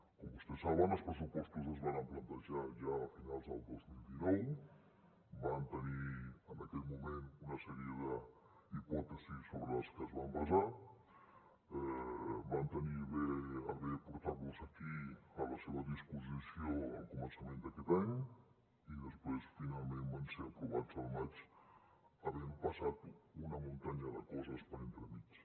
com vostès saben els pressupostos es varen plantejar ja a finals del dos mil dinou van tenir en aquell moment una sèrie de hipòtesis sobre les que es van basar van tenir a bé portar los aquí a la seva disposició al començament d’aquest any i després finalment van ser aprovats al maig havent passat una muntanya de coses per entremig